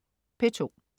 P2: